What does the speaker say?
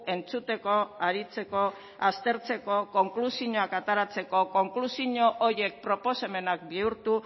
entzuteko aritzeko aztertzeko konklusioak ateratzeko konklusio horiek proposamenak bihurtu